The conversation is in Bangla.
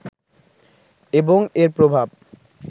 এবং এর প্রভাব